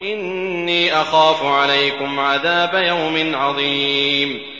إِنِّي أَخَافُ عَلَيْكُمْ عَذَابَ يَوْمٍ عَظِيمٍ